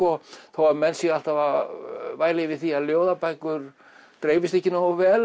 þó menn séu alltaf að væla yfir því að ljóðabækur dreifist ekki nógu vel